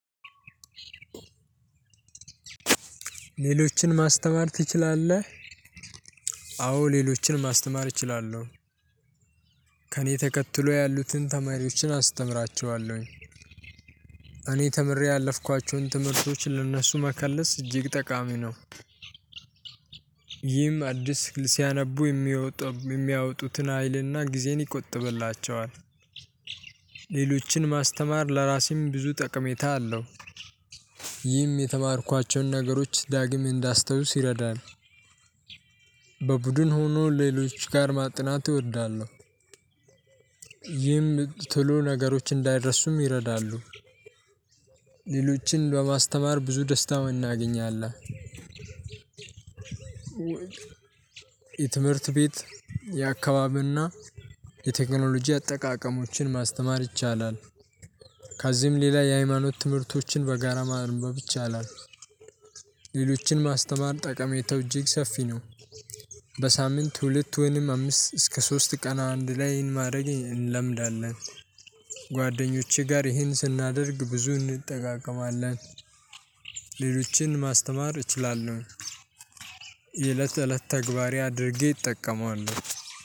ሌሎችን ማስተማር ትችላለህ? አዎ ሌሎችን ማስተማር እችላለሁ ከእኔ ተከትሎ ያሉትን ተማሪዎችን አስተምራቸዋለሁ። እኔ ተምሬ ያለፍኳችሁን ትምህርቶች ለእነሱ መከለስ እጅግ ጠቃሚ ነው። ይህም አዲስ ሲያነቡ የሚያወጡትን ሀይልና ጊዜን ይቆጥብላቸዋል። ሌሎችን ማስተማር ለራሴም ብዙ ጠቀሜታ አለው። ይህም የተማርኳቸውን ነገሮች ዳግም እንዳስታውስ ይረዳል። በቡድን ሆኖ ሌሎች ጋር ማጥናት እወዳለሁ። ይህም ቶሎ ነገሮች እንዳይረሱም ይረዳሉ። ሌሎችን በማስተማር ብዙ ደስታ እናገኛለን። የትምህርት ቤት የአካባቢ ና የቴክኖሎጂ አጠቃቀሞችን ማስተማር ይቻላል። ከዚህም ሌላ የሃይማኖት ትምህርቶችን በጋራ ማንበብ ይቻላል። ሌሎችን ማስተማር ጠቀሜታው እጅግ ሰፊ ነው። በሳምንት ሁለት ወይንም አምስት እስከ ሶስት ቀን አንድ ላይ ማድረግ እንለምዳለን። ጓደኞቼ ጋር ይሄን ስናደርግ ብዙ እንጠቃቀማለን። ሌሎችን ማስተማር እችላለሁ። የእለት እለት ተግባሬ አድርጌ እጠቀመዋለሁ።